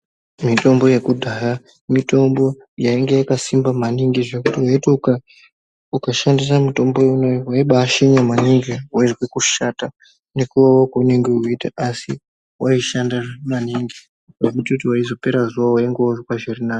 Mitombo yakudhaya mitombo yainge yakasimba maningi zvekuti vaiti ukashandisa mitombo iyonayo vaibashinya maningi. Vaizwe kushata nekuvava kwaunenge veiita. Asi vaishanda maningi zvekutoti paizopera zuva vainge vozwa zvirinani.